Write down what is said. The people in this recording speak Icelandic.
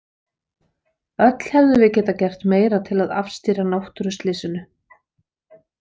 Öll hefðum við getað gert meira til að afstýra náttúruslysinu.